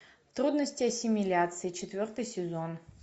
трудности ассимиляции четвертый сезон